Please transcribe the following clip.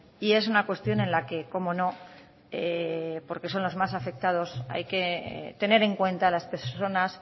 y es una cuestión en la que cómo no porque son los más afectados hay que tener en cuenta a las personas